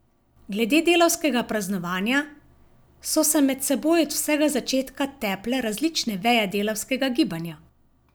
Glede delavskega praznovanja so se med seboj od vsega začetka teple različne veje delavskega gibanja.